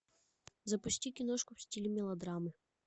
запусти киношку в стиле мелодрамы